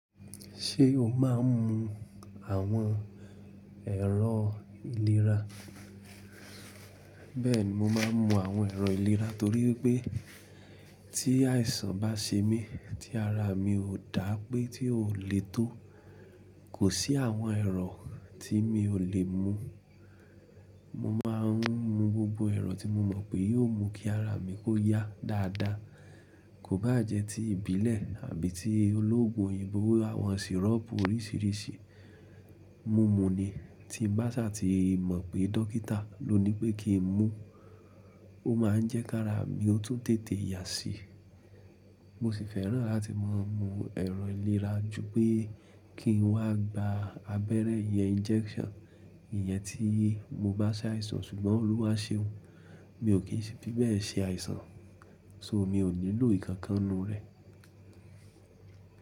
Ṣé o máa ń mu àwọn ẹ̀rọ ìlera? Bẹ́ẹ̀ni, mo máa ń mu àwọn ẹ̀rọ ìlera torí pé tí àìsàn bá ṣe mí, tí ara mi ò dá pé tí ò lè tó, kò sí àwọn ẹ̀rọ tí mi ò lè mu. Mo máa ń mu gbogbo ẹ̀rọ tí mo mọ̀ pé yóò mú kí ara mi kó yá dáadáa. Kò bá jẹ́ ti ìbílẹ̀ àbí ti olóògùn òyìnbó, àwọn sirop oríṣiríṣi, mu mu ni. Tí bá ṣà ti mọ̀ pé dókítà ló ní pé kí n mu, ó máa ń jẹ́ kí ara mi ó tún tètè yá síi. Mo sì fẹ́ràn láti máa mu ẹ̀rọ ìlera ju pé kí n wá gba abẹ́rẹ́ yẹn injection, ìyẹn tí mo bá ṣe àìsàn ṣùgbọ́n Olúwa ṣe òun, mi ò kí n fi bẹ́ẹ̀ ṣe àìsàn. So mi ò nílò ìkankan nnu rẹ.